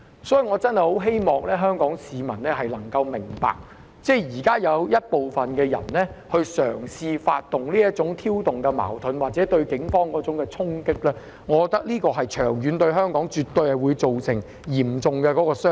所以，我真的希望香港市民能夠明白，現時有部分人嘗試挑動這種矛盾或對警員作出衝擊，長遠而言絕對會對香港造成嚴重傷害。